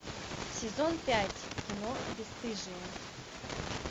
сезон пять кино бесстыжие